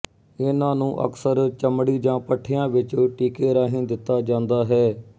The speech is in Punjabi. ਇਹਨਾਂ ਨੂੰ ਅਕਸਰ ਚਮੜੀ ਜਾਂ ਪੱਠਿਆਂ ਵਿੱਚ ਟੀਕੇ ਰਾਹੀਂ ਦਿੱਤਾ ਜਾਂਦਾ ਹੈ